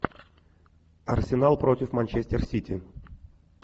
арсенал против манчестер сити